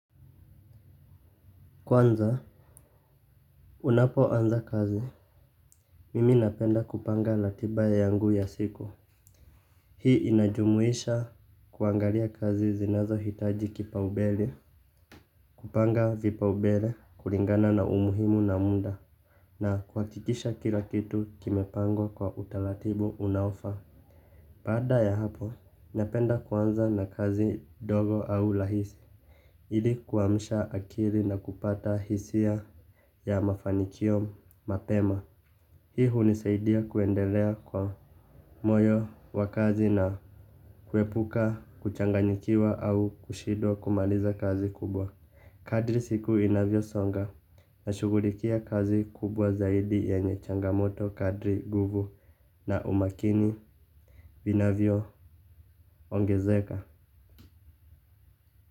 Kwanza unapoanza kazi mimi napenda kupanga ratiba yangu ya siku. Hii inajumuisha kuangalia kazi zinazohitaji kipaumbele. Kupanga vipaumbele kulingana na umuhimu na muda na kuhakikisha kila kitu kimepangwa kwa utaratibu unaofaa baada ya hapo. Napenda kwanza na kazi ndogo au rahisi ili kuamsha akili na kupata hisia ya mafanikio mapema. Hii hunisaidia kuendelea kwa moyo wa kazi na kuepuka, kuchanganyikiwa au kushindwa kumaliza kazi kubwa. Kadri siku inavyosonga na shughulikia kazi kubwa zaidi yenye changamoto kadri nguvu na umakini vinavyoongezeka.